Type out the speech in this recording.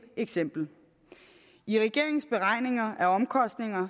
eksempel i regeringens beregninger af omkostninger